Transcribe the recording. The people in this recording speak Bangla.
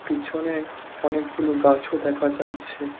পিছনে অনেক গুলো গাছও দেখা যাচ্ছে।